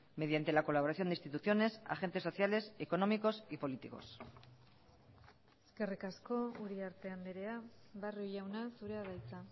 mediante la colaboración de instituciones agentes sociales económicos y políticos eskerrik asko uriarte andrea barrio jauna zurea da hitza